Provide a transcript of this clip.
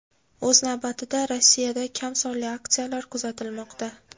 O‘z navbatida, Rossiyada kam sonli aksiyalar kuzatilmoqda.